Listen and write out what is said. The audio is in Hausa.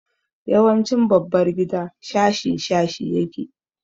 Yawancin babbar gida shashi shashi yake.